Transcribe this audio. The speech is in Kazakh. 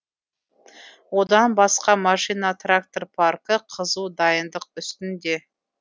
одан басқа машина трактор паркі қызу дайындық үстінде